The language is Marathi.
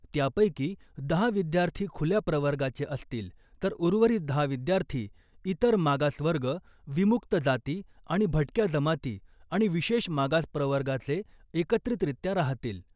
त्यापैकी दहा विद्यार्थी खुल्या प्रवर्गाचे असतील तर उर्वरित दहा विद्यार्थी इतर मागास वर्ग , विमुक्त जाती आणि भटक्या जमाती आणि विशेष मागास प्रवर्गाचे एकत्रितरित्या राहतील .